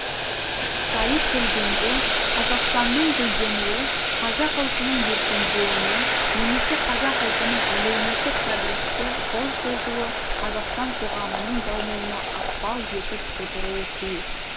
сайып келгенде қазақстанның гүлденуі қазақ ұлтының еркендеуіне немесе қазақ ұлтының әлеуметтік прогреске қол созуы қазақстан коғамының дамуына ықпал етіп отыруы тиіс